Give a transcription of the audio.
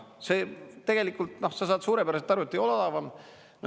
Tegelikult sa saad suurepäraselt aru, et ei ole odavam.